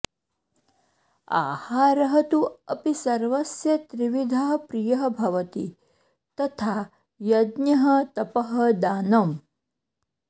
आहारः तु अपि सर्वस्य त्रिविधः प्रियः भवति तथा यज्ञः तपः दानम्